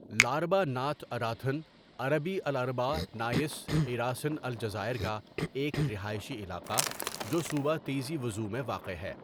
لاربا Nath Irathen عربی الأربعاء Nath Irathen الجزائر کا ایک رہائشی علاقہ جو صوبہ تیزی وزو میں واقع ہے.